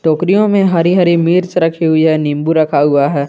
टोकरियों में हरी हरी मिर्च रखी हुई है नींबू रखा हुआ है।